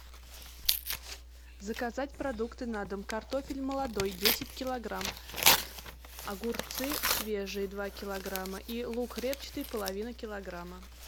заказать продукты на дом картофель молодой десять килограмм огурцы свежие два килограмма и лук репчатый половину килограмма